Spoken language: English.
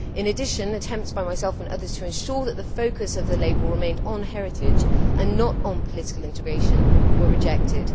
In addition, attempts by myself and others to ensure that the focus of the label remained on heritage, and not on political integration, were rejected.